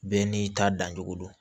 Bɛɛ n'i ta dancogo don